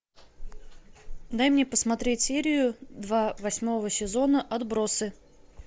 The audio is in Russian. дай мне посмотреть серию два восьмого сезона отбросы